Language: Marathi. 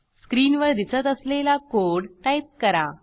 स्क्रीनवर दिसत असलेला कोड टाईप करा